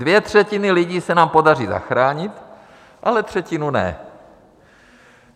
Dvě třetiny lidí se nám pořadí zachránit, ale třetinu ne.